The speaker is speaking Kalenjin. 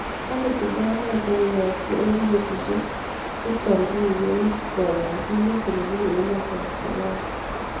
Taagatindo notook koyaakse ing' peetusiek chukot riiku eng' kaayanchiinet nebuunu emet ap korea